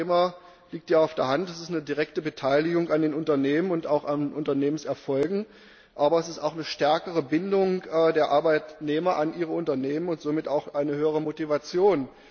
Für die Arbeitnehmer das liegt ja auf der Hand ist es eine direkte Beteiligung an den Unternehmen und auch an den Unternehmenserfolgen, aber es ist auch eine stärkere Bindung der Arbeitnehmer an ihre Unternehmen und somit eine höhere Motivation.